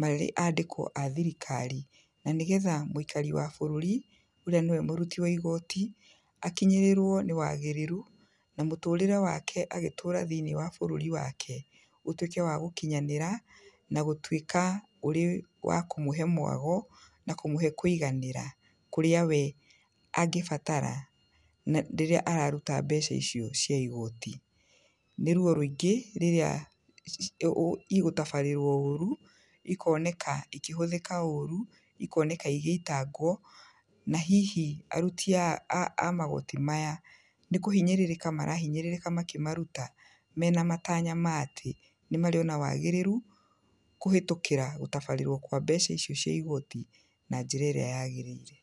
marĩ andĩkwo a thirikari, na nĩ getha mwĩikari wa bũrũri, ũrĩa nĩwe mũruti wa igooti, akinyĩrĩrwo nĩ wagĩrĩru, na mũtũrĩre wake agĩtũra thĩinĩ wa bũrũri wake, ũtuĩke wa gũkinyanĩra, na gũtuĩka ũrĩ wakũmũhe mwago, na kũmũhe kwĩiganĩra, kũrĩa we angĩbatara na rĩrĩa we araruta mbeca icio cia igooti, nĩ ruo rwĩingĩ rĩrĩa ũũ igũtabarĩrwo ũru, ikoneka ikĩhũthĩa ũru, ikoneka igĩitangwo, na hihi aruti aa amagooti maya, nĩ kũhinyĩrĩrĩka marahinyrĩrĩka makĩmaruta, mena matanya matĩ, nĩ marĩona wagĩrĩru, kũhetũkĩra gũtabarĩrwo kwa mbeca icio cia igooti, na njĩra ĩrĩa yagĩrĩire.